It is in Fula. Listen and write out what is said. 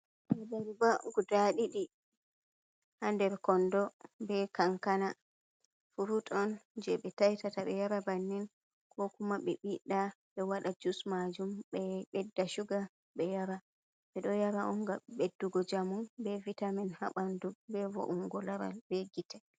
Abarba guda ɗiɗi ha nder kondo be kankana. Furut on je ɓe taitata ɓe yara bannin, ko kuma ɓe ɓiɗɗa ɓe waɗa jus majum. Ɓe ɓedda shuga be yara. Ɓe do yara on gam ɓeddugo njamu, be vitamin ha ɓandu, be vo’ungo laral, be gite.